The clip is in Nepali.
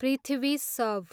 पृथ्वी शव